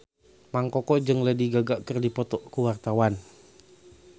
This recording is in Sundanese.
Mang Koko jeung Lady Gaga keur dipoto ku wartawan